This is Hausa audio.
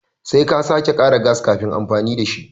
Sai ka sake kara gas kafin amfani da shi.